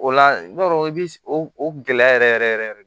O la i b'a dɔn i bi o gɛlɛya yɛrɛ yɛrɛ yɛrɛ yɛrɛ yɛrɛ de